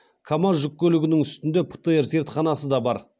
камаз жүк көлігінің үстінде птр зертханасы да бар